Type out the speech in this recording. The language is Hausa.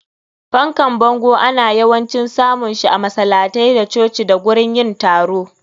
Fankan bango ana yawancin samun shi a masalatai da coci da gurin yin taro.